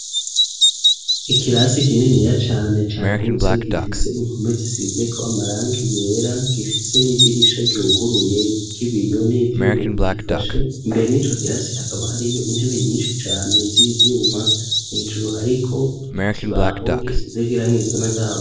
Ikirasi kininiya cane cagutse gifise impome zisizeko amarangi yera, gifise n'idirisha ryuhuguruye ry'ibiyo n'ivyuma bigifashe imbere yico kirasi hakaba hariyo intebe nyinshi cane z'ivyuma hejuru hariko ikibaho gisizek'irangi risa n'agahama.